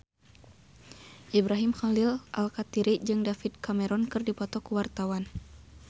Ibrahim Khalil Alkatiri jeung David Cameron keur dipoto ku wartawan